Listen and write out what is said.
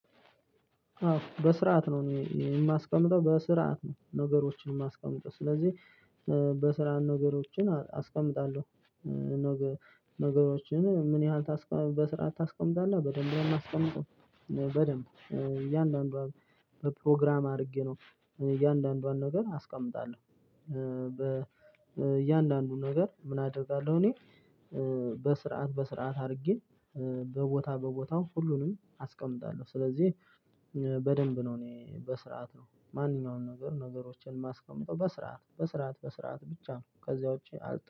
አዎ በስርዓት ነው እኔ የማስቀምጠው በስርዓት ነው ነገሮችን ማስቀምጥ ስለዚህ በስራ ነገሮችን አስቀምጣለሁ ነገሮችን ምን ያህል በስራ ታስቀምጣለህ በደንብ ነው ማስቀምጠው በደንብ እያንዳንዷን በፕሮግራም አድርጌ ነው እያንዳንዷን ነገር አስቀምጣለሁ። እያንዳንዱን ነገር ምን አደርጋለሁ እኔ በስርዓት በስርዓት አድርጌ በቦታ በቦታው ሁሉንም አስቀምጣለሁ። ስለዚህ በደንብ ነው እኔ በስርዓት ነው ማንኛውንም ነገር ነገሮችን ማስቀመጥ በስርዓት በስርዓት በስርዓት ብቻ ነው ከዚያ ውጪ